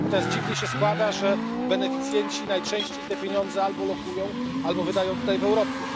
Natomiast dziwnie się składa, że beneficjenci najczęściej te pieniądze albo lokują, albo wydają tutaj w Europie.